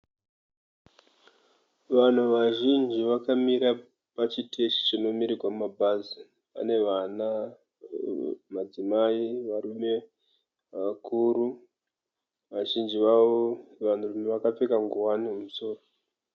Vanhu vazhinji vakamira pachiteshi chinomirirwa mabhazi. Pane vana, madzimai varume vakuru vazhinji vavo vanhurume vakapfeka nguwani mumusoro.